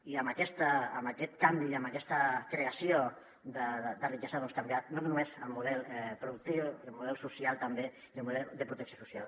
i amb aquest can·vi i amb aquesta creació de riquesa doncs canviar no només el model productiu el model social també i el model de protecció social